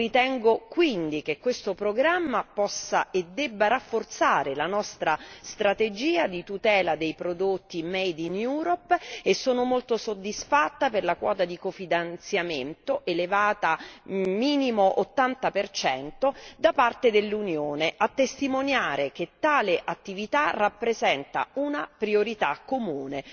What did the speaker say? Ritengo quindi che questo programma possa e debba rafforzare la nostra strategia di tutela dei prodotti made in Europe e sono molto soddisfatta per la quota di cofinanziamento elevata minimo ottanta percento da parte dell'Unione, a testimoniare che tale attività rappresenta una priorità comune.